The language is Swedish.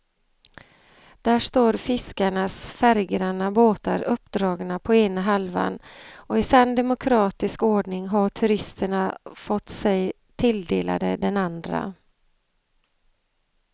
Där står fiskarnas färggranna båtar uppdragna på ena halvan och i sann demokratisk ordning har turisterna fått sig tilldelade den andra.